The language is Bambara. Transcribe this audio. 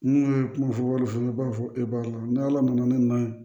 N'u ye kuma fɔ wari fana b'a fɔ e b'a la ni ala nana ne na